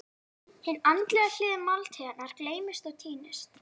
Hin andlega hlið máltíðarinnar gleymist og týnist.